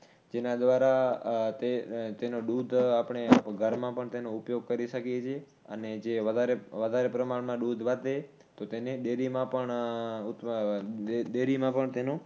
જેના દ્વારા તે તેનો દૂધ આપણે ઘરમાં પણ તેનો ઉપયોગ કરી શકી છી અને જે વધારે વધારે પ્રમાણમાં જે દૂધ વધે તો તેને ડેરીમાં પણ અથવા ડેરીમાં પણ